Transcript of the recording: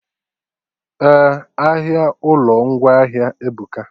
Eh, ahịa ụlọ ngwaahịa ebuka